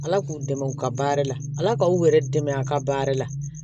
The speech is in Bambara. Ala k'u dɛmɛ u ka baara la ala k'aw yɛrɛ dɛmɛ a ka baara la